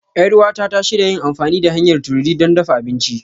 Yar uwata ta shirya yin amfani da hanyar tururi don dafa abinci.